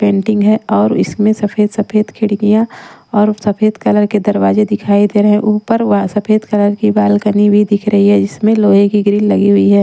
Painting है और इसमें सफेद-सफेद खिड़कियाँ और सफेद कलर के दरवाजे दिखाई दे रहे हैं ऊपर व सफेद कलर की बालकनी भी दिख रही है इसमें लोहे की ग्रिल लगी हुई है।